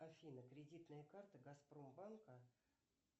афина кредитная карта газпромбанка